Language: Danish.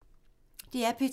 DR P2